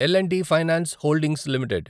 L and T finance holdings limited